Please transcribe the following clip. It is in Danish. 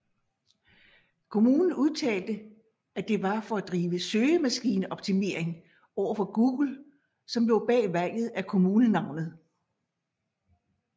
Kommunen udtalte at det var for at drive søgemaskineoptimering overfor Google som lå bag valget af kommunenavnet